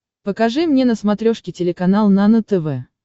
покажи мне на смотрешке телеканал нано тв